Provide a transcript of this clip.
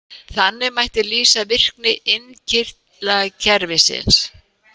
Þannig mætti lýsa virkni innkirtlakerfisins.